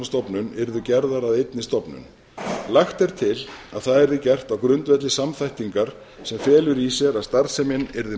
hafrannsóknastofnun yrðu gerðar að einni stofnun lagt er til að það yrði gert á grundvelli samþættingar sem felur í sér að starfsemin yrði